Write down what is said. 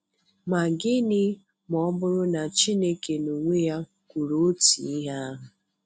Ma gịnị ma ọ bụrụ na Chineke n'onwe ya kwuru otu ihe ahụ?